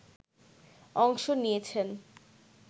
অংশ নিয়েছেন